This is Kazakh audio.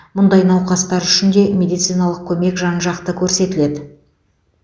мұндай науқастар үшін де медициналық көмек жан жақты көрсетіледі